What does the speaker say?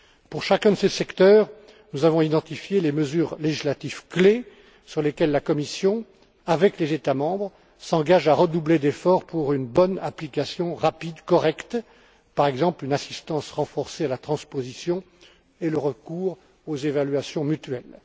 Pour chacun de ces secteurs, nous avons identifié les mesures législatives clés sur lesquelles la Commission, avec les États membres, s'engage à redoubler d'efforts pour une bonne application rapide, correcte, par exemple, une assistance renforcée à la transposition et le recours aux évaluations mutuelles.